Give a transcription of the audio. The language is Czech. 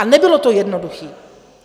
A nebylo to jednoduché!